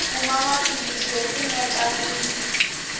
kuma maphilisi yo pfuneta miri